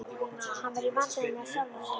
Hann var í vandræðum með sjálfan sig.